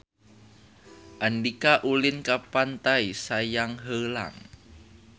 Andika ulin ka Pantai Sayang Heulang